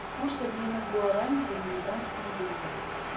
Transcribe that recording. курс обмена гуарани к американскому доллару